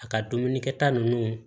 A ka dumunikɛta ninnu